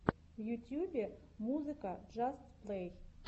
в ютьюбе музыка джаст плэй